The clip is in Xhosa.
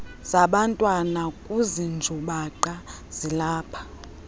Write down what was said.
zabantwana kuzinjubaqa zilapha